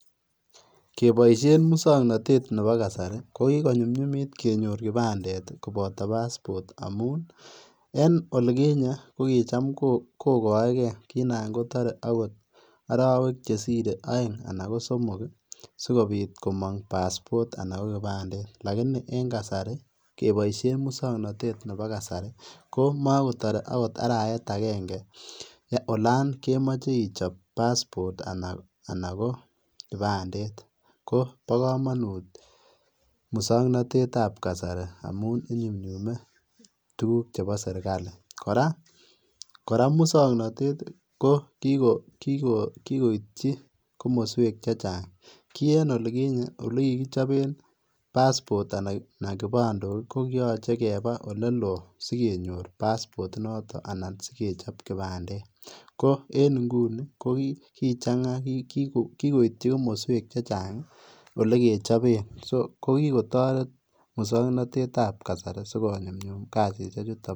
Keboisien musoknotet nebo kasari ko kikonyumnyumit kenyor kibandet kopoto passport ,amun en olikinye kokicham kogoegee anan kotoree ogot orowek chetore oeng anan ko somok sikobit komong passport anan kokibandet, lakini en kasari keboisien musoknotet nebo kasari komokotore okot arawet agenge olon kemoche ichop passport anan ko kibandet, ko bo komonut musoknotetab kasari amun inyumnyume tuguk chebo sirkali , koraa musoknotet kokikoityi komoswek chechang ki en olikinye ole kikkichoben passport anan kibandok kokiyoche kebaa olelon sikenyor passport inoton anan sikechop kibandet ,ko en inguni kokichanga kikoityi komoswek chechang olekechoben so kokikotoret musoknotetab kasari sikonyumnyum kasishechutet.